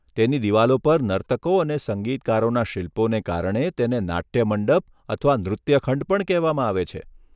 તેની દિવાલો પર નર્તકો અને સંગીતકારોના શિલ્પોને કારણે તેને નાટ્ય મંડપ અથવા નૃત્ય ખંડ પણ કહેવામાં આવે છે.